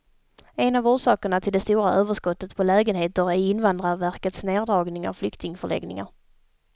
En av orsakerna till det stora överskottet på lägenheter är invandrarverkets neddragning av flyktingförläggningar.